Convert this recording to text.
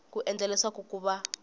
ku endlela leswaku ku va